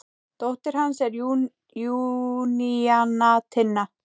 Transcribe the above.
Dóttir hans er Júníana Tinna.